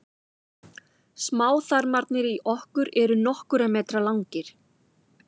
smáþarmarnir í okkur eru nokkurra metra langir